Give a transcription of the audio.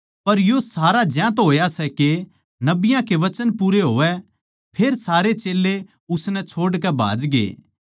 पर यो सारा ज्यांतै होया सै के नबियाँ के वचन पूरे होवै फेर सारे चेल्लें उसनै छोड़कै भाजगे